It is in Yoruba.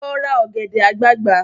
Lọ ra ọ̀gẹ̀dẹ̀ àgbagbà!